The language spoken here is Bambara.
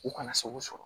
U kana sago sɔrɔ